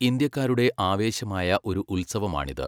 ഇന്ത്യക്കാരുടെ ആവേശമായ ഒരു ഉത്സവമാണിത്.